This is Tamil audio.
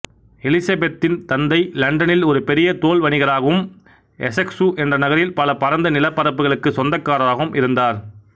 எலிசபெத்தின் தந்தை லண்டனில் ஒரு பெரிய தோல் வணிகராகவும் எசெக்சு என்ற நகரில் பல பரந்த நிலப்பரப்புகளுக்குச் சொந்தக்காரராகவும் இருந்தார்